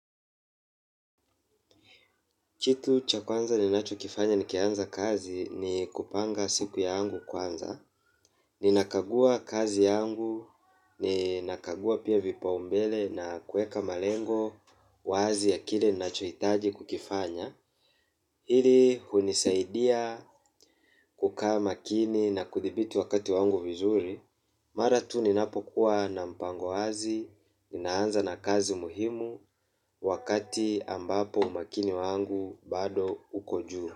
Kitu cha kwanza ninacho kifanya nikianza kazi ni kupanga siku yangu kwanza, ninakagua kazi yangu, ninakagua pia vipaumbele na kuweka malengo, wazi ya kile ninachohitaji kukifanya. Hili hunisaidia kukaa makini na kuthibiti wakati wangu vizuri. Mara tu ninapokuwa na mpango wazi, ninaanza na kazi muhimu wakati ambapo umakini wangu bado uko juu.